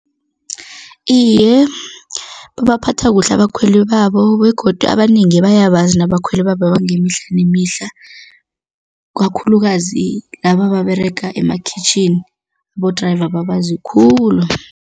Iye, babaphatha kuhle abakhweli babo begodu abanengi bayakwazi nabakhwele bangemihla nemihla kakhulukazi, laba ababerega emakhwitjhini, abo-driver babazi khulu.